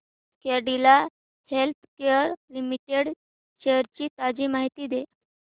Cadila healthcare limited shares ची ताजी माहिती दे